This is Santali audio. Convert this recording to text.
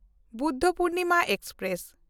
ᱵᱩᱫᱷᱯᱩᱨᱱᱤᱢᱟ ᱮᱠᱥᱯᱨᱮᱥ